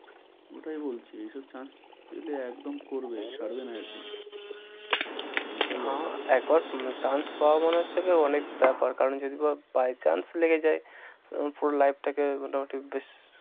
ওটাই বলছি এসব chance পেলে একদম করবে, ছাড়বে না একদম। না একবার chance পাওয়া মানে হচ্ছে অনেক ব্যপার কারণ যদি বা by chance লেগে যায় তখন পুরো life টাকে মোটামুটি বেশ,